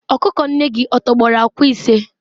ọkụkọ nne gị tọgbọrọ akwa ise?